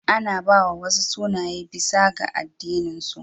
Ana ba wa wasu sunaye bisa ga addininsu.